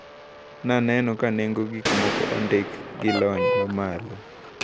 Naneno ka nengo gikmoko ondik gi lony mamalo.